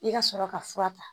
I ka sɔrɔ ka fura ta.